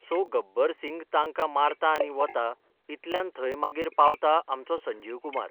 So Gabbar Singh तांकां मारता आनी वता इतल्यान थंय मागीर पावता आमचो संजीव कुमार.